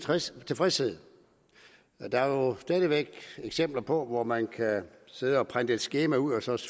tilfredshed der er jo stadig væk eksempler på at man kan sidde og printe et skema ud og så